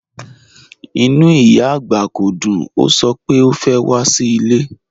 Ìnú ìyá agbá kò dùn, o sọ̀ pẹ̀ o fẹ́ wà sí ilẹ̀.